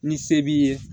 Ni se b'i ye